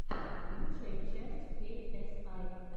лучшая часть кей эс ай